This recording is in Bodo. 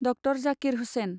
डक्टर जाकिर हुसेन